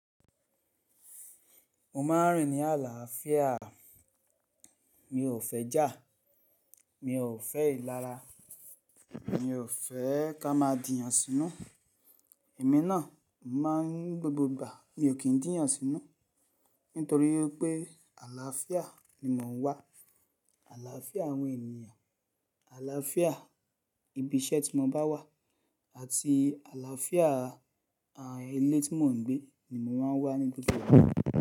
Mo ma n rìn ní àlàáfíà, mi ò fẹ́ jà, mi ò fẹ́ ìlara, mi ò fẹ́ ká má dín yàn sínú. Emi ná, emi má n gbogbo ìgbà mi ò kín dí yàn sínú, nítorí pé àlàáfíà ni mò n wá. Àlàáfíà àwọn ènìyàn, àlàáfíà ibi iṣẹ́ tí mo bá wà àti àlàáfíà à, ilé tí mò ń gbé ni mò má n wà ní gbogbo ìgbà.